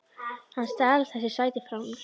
Hann stal þessu sæti frá mér!